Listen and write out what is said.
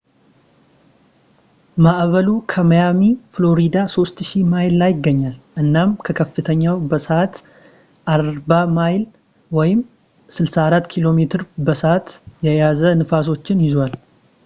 ማዕበሉ ከማያሚ፣ ፍሎሪዳ 3000 ማይል ላይ ይገኛል እናም በከፍተኛው በሰዓት 40ሚይል 64ኪ.ሜ በ ሰዓት የያዙ ንፋሶችን ይዟል